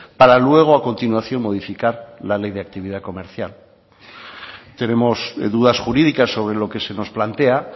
para luego a continuación modificar la ley de actividad comercial tenemos dudas jurídicas sobre lo que se nos plantea